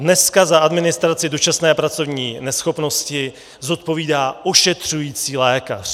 Dneska za administraci dočasné pracovní neschopnosti zodpovídá ošetřující lékař.